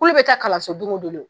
Kulo bɛ taa kalanso don o don